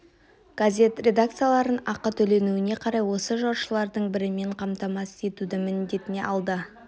газет редакцияларын ақы төлеуіне қарай осы жаршылардың бірімен қамтамасыз етуді міндетіне алды